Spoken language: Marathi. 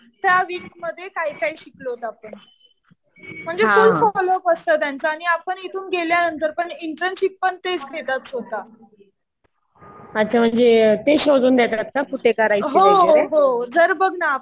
त्या वीक मध्ये काय काय शिकलोत आपण. म्हणजे फुल फॉलो अप असतं त्याचं. आणि आपण इथून गेल्यानंतर पण इंटर्नशिप पण तेच देतात स्वतः. हो हो. जर बघ ना